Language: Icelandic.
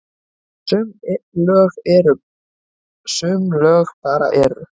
Sum lög bara eru.